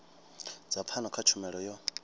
dza pfano kha tshumelo yo